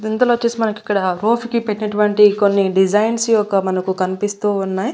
ఇందులో వచ్చేసి మనకి ఇక్కడ రూఫ్ కి పెట్టినట్టువంటి కొన్ని డిజైన్స్ యొక్క మనకి కనిపిస్తూ ఉన్నాయి.